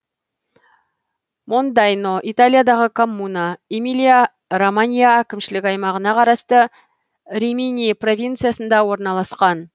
мондайно италиядағы коммуна эмилия романья әкімшілік аймағына қарасты римини провинциясында орналасқан